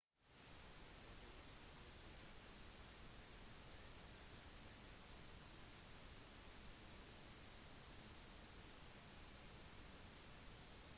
europeisk tyrkia østlige thrace eller rumelia på balkan inkluderer 3 prosent av landet